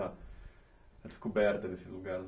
A descoberta desse lugar